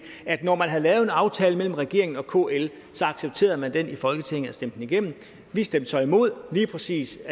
at når man havde lavet en aftale mellem regeringen og kl så accepterede man den i folketinget og stemte den igennem vi stemte så imod lige præcis